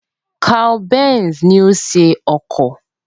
Carl Benz ni ó ṣe ọkọ̀